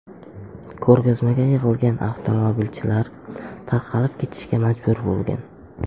Ko‘rgazmaga yig‘ilgan avtomobilchilar tarqalib ketishga majbur bo‘lgan.